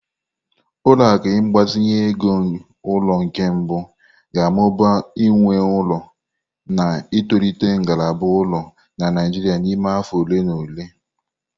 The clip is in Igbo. Ụlọ akụ ịgbazinye ego ulo nke mbụ ga-amụba nwe ụlọ, na-etolite ngalaba ụlọ na Naijiria n'ime afọ ole na ole.